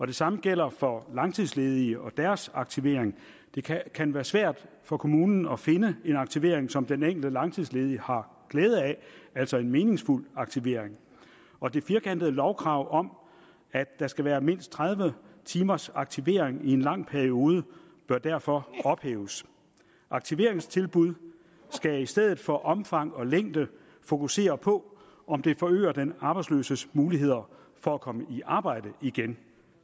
det samme gælder for langtidsledige og deres aktivering det kan kan være svært for kommunen at finde en aktivering som den enkelte langtidsledige har glæde af altså en meningsfuld aktivering og det firkantede lovkrav om at der skal være mindst tredive timers aktivering i en lang periode bør derfor ophæves aktiveringstilbud skal i stedet for omfang og længde fokusere på om det forøger den arbejdsløses muligheder for at komme i arbejde igen